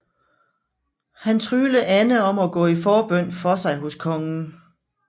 Han tryglede Anne om at gå i forbøn for sig hos kongen